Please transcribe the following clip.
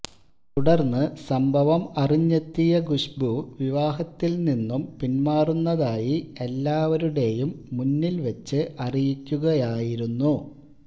തുടര്ന്ന് സംഭവം അറിഞ്ഞെത്തിയ കുശ്ബു വിവാഹത്തില് നിന്നും പിന്മാറുന്നതായി എല്ലാവരുടെയും മുന്നില് വെച്ച് അറിയിക്കുകയായിരുന്നു